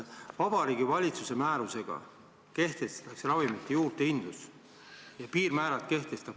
Vabariigi Valitsuse määrusega kehtestatakse ravimite juurdehindluse piirmäärad.